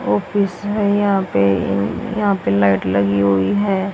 Office है यहां पे यहां पे लाइट लगी हुई है।